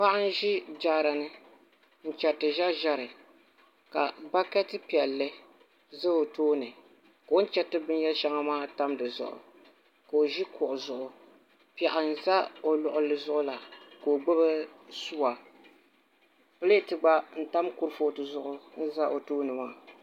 Paɣa n ʒi jaaara ni n chɛriti ʒɛri ʒɛri ka bakɛti piɛlli ʒɛ o tooni ka o ni chɛriti binyɛri shɛŋa maa tam di zuɣu ka o ʒi kuɣu zuɣu piɛɣu n ʒɛ o luɣuli zuɣu la ka o gbubi suwa pileet gba n tam kurifooti zuɣu n ʒɛ o tooni maa